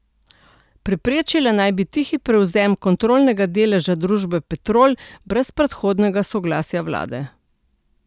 Preprečila naj bi tihi prevzem kontrolnega deleža družbe Petrol brez predhodnega soglasja vlade.